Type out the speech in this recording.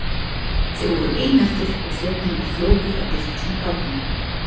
Þau voru ein eftir og þjónninn var fljótur að birtast með kápuna hennar.